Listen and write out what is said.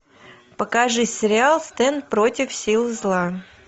покажи сериал стэн против сил зла